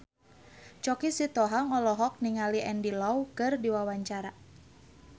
Choky Sitohang olohok ningali Andy Lau keur diwawancara